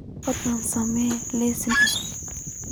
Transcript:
fadlan samee liis cusub